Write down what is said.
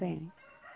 Vem.